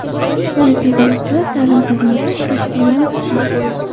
Shunday pedagoglar ta’lim tizimida ishlashga munosibmi?